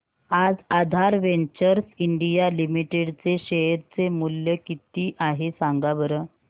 आज Aadhaar ventures India limited चे share चे मूल्य किती आहे सांगा बरं